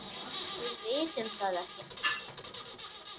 Við vitum það ekki.